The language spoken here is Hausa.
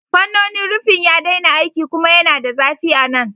Fannonin rufin ya daina aiki kuma yana da zafi a nan.